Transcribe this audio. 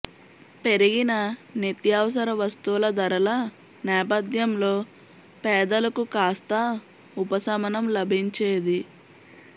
పెరిగిన నిత్యావసర వస్తువుల ధరల నేపథ్యంలో పేదలకు కాస్తా ఉపశమనం లభించేది